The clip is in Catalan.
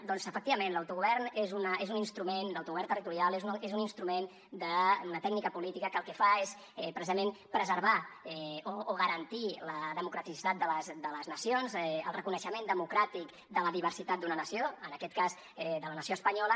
doncs efectivament l’autogovern és un instrument l’autogovern territorial és un instrument una tècnica política que el que fa és precisament preservar o garantir la democraticitat de les nacions el reconeixement democràtic de la diversitat d’una nació en aquest cas de la nació espanyola